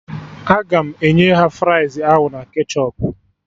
Aga m enye ha fries ahụ na ketchọp